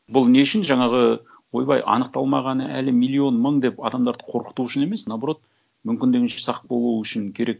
бұл не үшін жаңағы ойбай аңықталмағаны әлі миллион мың деп адамдарды қорқыту үшін емес наоборот мүмкіндігінше сақ болуы үшін керек